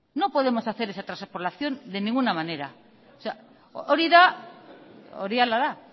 no podemos hacer esa transpolación de ninguna manera mesedez isiltasuna